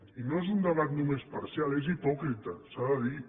i no és un debat només parcial és hipòcrita s’ha de dir